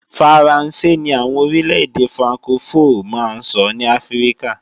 Faransé ni àwọn orílẹ̀-èdè frankofó máa ń sọ ní Áfríkà